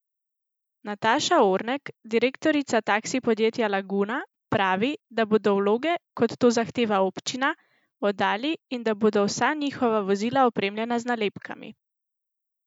Nataša Ornek, direktorica taksi podjetja Laguna, pravi, da bodo vloge, kot to zahteva občina, oddali in da bodo vsa njihova vozila opremljena z nalepkami.